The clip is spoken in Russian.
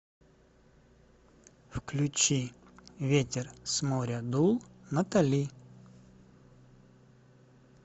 включи ветер с моря дул натали